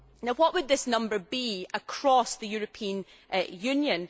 What would this number be across the European Union?